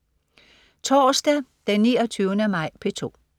Torsdag den 29. maj - P2: